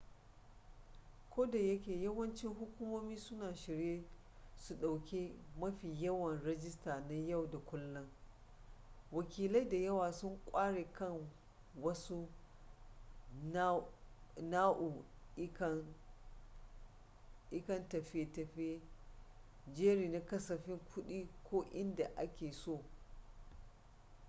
kodayake yawancin hukumomi suna shirye su ɗauki mafi yawan rijista na yau da kullun wakilai da yawa sun ƙware kan wasu nau'ikan tafiye-tafiye jeri na kasafin kuɗi ko inda ake so